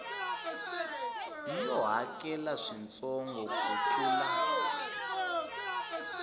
yo hakela swintsongo ku tlula